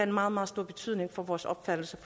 meget meget stor betydning for vores opfattelse